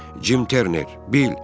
Cim Terner, bil.